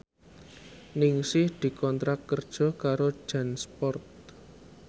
Ningsih dikontrak kerja karo Jansport